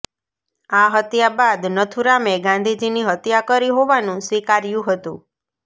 આ હત્યા બાદ નથુરામે ગાંધીજીની હત્યા કરી હોવાનું સ્વીકાર્યુ હતુ